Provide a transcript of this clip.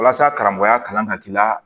Walasa karamɔgɔya kanu ka k'i la